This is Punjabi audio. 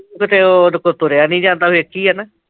ਤੇ ਉਹਦੇ ਕੋਲੋਂ ਤੁਰਿਆ ਨੀ ਜਾਂਦਾ, ਵੇਖੀ ਐ ਨਾ?